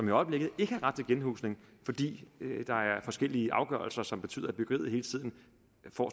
i øjeblikket ikke har ret til genhusning fordi der er forskellige afgørelser som betyder at byggeriet hele tiden får